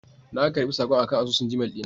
Na karɓi saƙon akan asusun Gmail dina